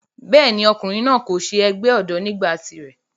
bẹ́ẹ̀ni, ọkùnrin náà kò se ẹgbẹ́ ọ̀dọ́ nígbà tiré